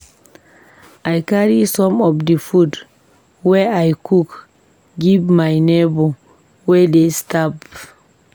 I carry some of di food wey I cook give my nebor wey dey starve.